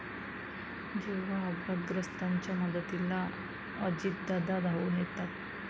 जेव्हा अपघातग्रस्ताच्या मदतीला अजितदादा धावून येतात!